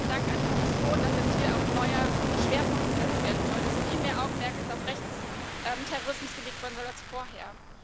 und dann vielen Dank an die Kommission, dass jetzt hier auch ein neuer Schwerpunkt gesetzt werden soll, dass jetzt viel mehr Augenmerk auf Rechtsterrorismus gelegt werden soll als vorher.